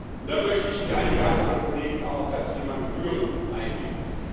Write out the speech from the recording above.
Und dann möchte ich, wie einige andere Kollegen auch, auf das Thema Gebühren eingehen.